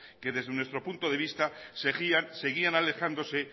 que desde nuestro punto de vista seguían alejándose